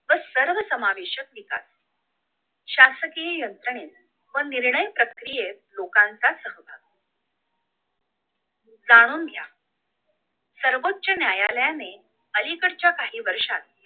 व सर्व समावेशक विकास शासकीय यंत्रने व निर्णय प्रक्रियेत लोकांचा सहवास जाणून घ्या सर्वोच न्यायालयाने अलीकडच्या काही वर्षात